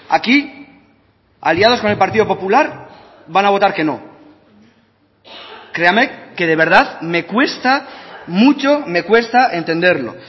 aquí aliados con el partido popular van a votar que no créame que de verdad me cuesta mucho me cuesta entenderlo